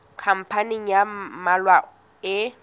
khampani ya ba mmalwa e